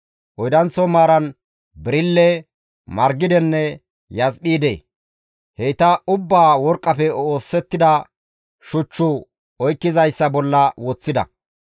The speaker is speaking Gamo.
oydanththo maaran birille, margidenne yasphiide. Heyta ubbaa worqqafe oosettida shuchchu oykkizayssa bolla woththida.